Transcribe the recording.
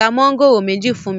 ra Mángòrò méjì fún mí!